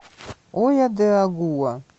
ойо де агуа